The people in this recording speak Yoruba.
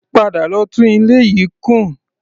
Padà lọ tún ilé yìí kùn!